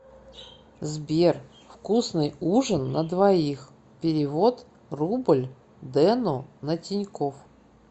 сбер вкусный ужин на двоих перевод рубль дену на тинькофф